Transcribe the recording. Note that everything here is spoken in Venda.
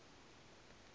sars a si kanzhi i